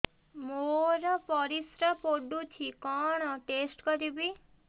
ମୋର ପରିସ୍ରା ପୋଡୁଛି କଣ ଟେଷ୍ଟ କରିବି